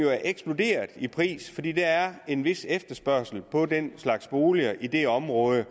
er eksploderet i pris fordi der er en vis efterspørgsel på den slags boliger i det område